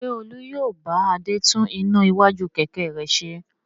Ṣé Olú yóò bá Adé tún iná iwájú kẹ̀kẹ́ rẹ̀ ṣe?